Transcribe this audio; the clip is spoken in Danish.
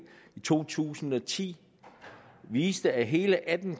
to tusind og ti viste at hele atten